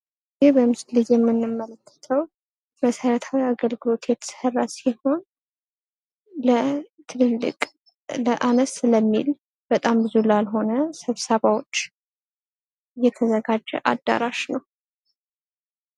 ይህ በምስሉ ላይ የምንመለከተው መሰረታዊ አገልግሎት የተሰራ ሲሆን ለ ትልልቅ ፣ ለአነስ ለሚል በጣም ብዙ ላልሆነ ስብሰባዎች የተዘጋጀ አዳራሽ ነው።